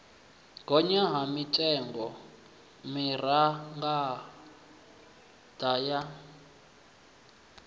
gonya ha mitengo mimaraga ya